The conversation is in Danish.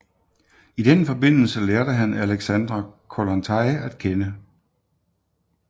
I den forbindelse lærte han Alexandra Kollontai at kende